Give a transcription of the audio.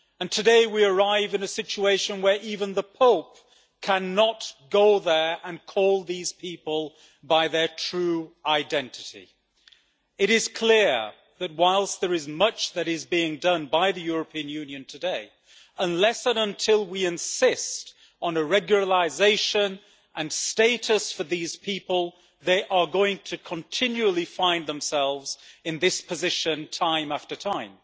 Today we arrive in a situation where even the Pope cannot go there and call these people by their true identity. It is clear that, whilst there is much that is being done by the European Union today, unless and until we insist on a regularisation and status for these people, they are going to continually find themselves in this position time after time.